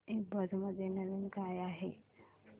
ईबझ मध्ये नवीन काय आहे